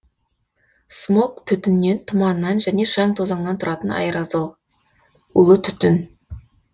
смог түтіннен тұманнан және шаң тозаңнан тұратын аэрозоль улы түтін